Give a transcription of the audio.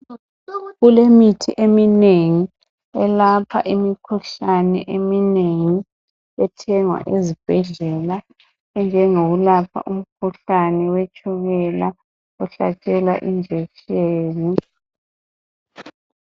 Kulemithi eminengi elapha imikhuhlane eminengi ethengwa ezibhedlela enjengokwelapha imikhuhlane wetshukela ohlatshelwa injekiseni